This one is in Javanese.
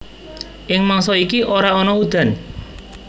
Ing mangsa iki ora ana udan